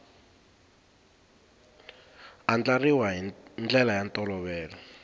andlariwa hi ndlela ya ntolovelo